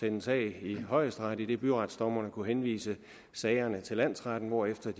en sag i højesteret idet byretsdommerne kunne henvise sagerne til landsretterne hvorefter